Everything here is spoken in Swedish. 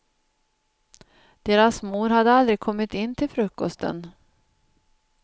Deras mor hade aldrig kommit in till frukosten.